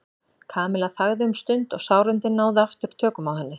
Kamilla þagði um stund og sárindin náðu aftur tökum á henni.